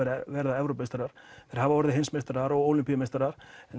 verða Evrópumeistarar þeir hafa orðið heims og ólympíumeistarar en